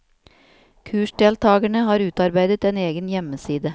Kursdeltagerne har utarbeidet en egen hjemmeside.